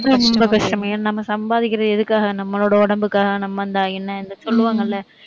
ரொம்ப கஷ்டம் ஏன்னா நம்ம சம்பாதிக்கிறது எதுக்காக? நம்மளோட உடம்புக்காக நம்ம இந்தா என்ன இந்த சொல்லுவாங்கள்ல